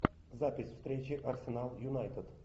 запись встречи арсенал юнайтед